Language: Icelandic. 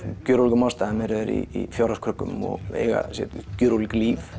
gjörólíkum ástæðum eru þeir í fjárhagskröggum og eiga sér gjörólík líf